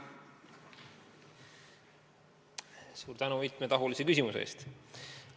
Suur tänu mitmetahulise küsimuse eest!